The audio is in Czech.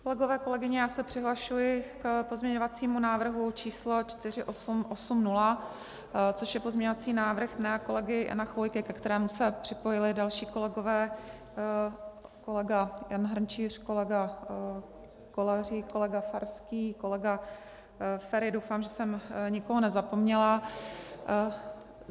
Kolegové, kolegyně, já se přihlašuji k pozměňovacímu návrhu číslo 4880, což je pozměňovací návrh mého kolegy Jana Chvojky, ke kterému se připojili další kolegové, kolega Jan Hrnčíř, kolega Kolářík, kolega Farský, kolega Feri - doufám, že jsem nikoho nezapomněla.